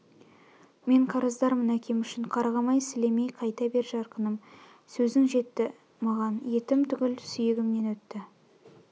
мен қарыздармын әкем үшін қарғамай сілемей қайта бер жарқыным сөзің жетті маған етім түгіл сүйегімнен өтті